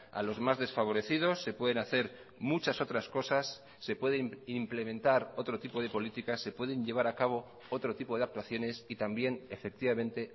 a los más desfavorecidos se pueden hacer muchas otras cosas se pueden implementar otro tipo de políticas se pueden llevar a cabo otro tipo de actuaciones y también efectivamente